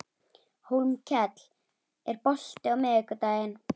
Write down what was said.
Hólmkell, er bolti á miðvikudaginn?